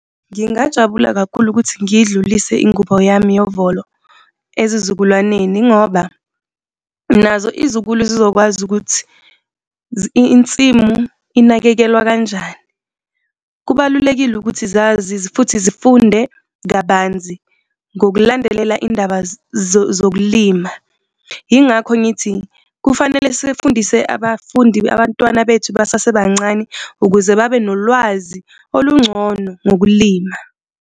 Ngingajabula kakhulu ukuthi ngiyidlulise ingubo yami yovolo ezizukulwaneni ngoba nazo izizukulu zizokwazi ukuthi insimu inakekelwa kanjani. Kubalulekile ukuthi zazi, futhi zifunde kabanzi ngokulandelela indaba zokulima. Yingakho ngithi kufanele sifundise abafundi, abantwana bethu basasebancane ukuze babe nolwazi olungcono ngokulima.